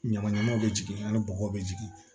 Ɲamaɲamaw bɛ jigin ani bɔgɔ bɛ jigin